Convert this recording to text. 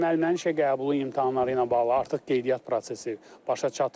Müəllimənin işə qəbulu imtahanları ilə bağlı artıq qeydiyyat prosesi başa çatıb.